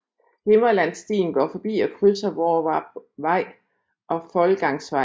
Himmerlandsstien går forbi og krydser Hvorvarpvej og Foldgangsvej